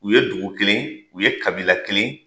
U ye dugu kelen u ye kabila kelen